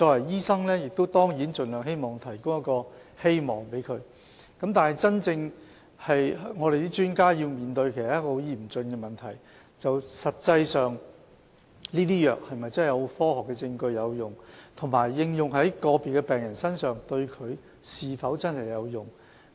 醫生當然希望盡量給予病人一個希望，然而，我們的專家要面對很嚴峻的問題，就是這些藥物實際上是否真的有科學證據證明有效，以及應用在個別病人身上是否真的有效。